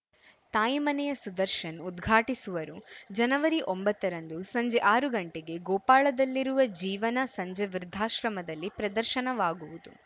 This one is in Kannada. ತಾಯಿಮನೆಯ ಸುದರ್ಶನ್‌ ಉದ್ಘಾಟಿಸುವರು ಜನವರಿ ಒಂಬತ್ತರಂದು ಸಂಜೆ ಆರು ಗಂಟೆಗೆ ಗೋಪಾಳದಲ್ಲಿರುವ ಜೀವನ ಸಂಜೆ ವೃದ್ಧಾಶ್ರಮದಲ್ಲಿ ಪ್ರದರ್ಶನ ವಾಗುವುದು